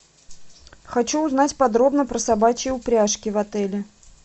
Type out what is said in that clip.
хочу узнать подробно про собачьи упряжки в отеле